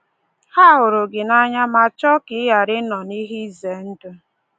Ha hụrụ gị n’anya ma chọọ ka ị ghara ịnọ n’ihe izendụ.